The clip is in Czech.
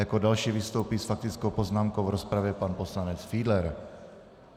Jako další vystoupí s faktickou poznámkou v rozpravě pan poslanec Fiedler.